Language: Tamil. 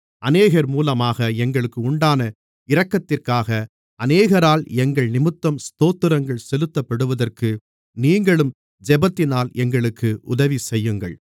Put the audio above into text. அநேகர் மூலமாக எங்களுக்கு உண்டான இரக்கத்திற்காக அநேகரால் எங்கள் நிமித்தம் ஸ்தோத்திரங்கள் செலுத்தப்படுவதற்கு நீங்களும் ஜெபத்தினால் எங்களுக்கு உதவிசெய்யுங்கள்